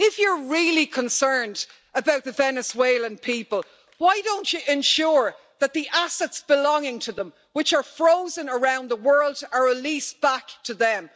If you are really concerned about the Venezuelan people, why don't you ensure that the assets belonging to them, which are frozen around the world, are released back to them?